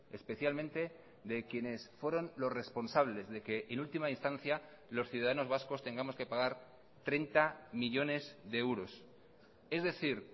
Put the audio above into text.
especialmente de quienes fueron los responsables de que en última instancia los ciudadanos vascos tengamos que pagar treinta millónes de euros es decir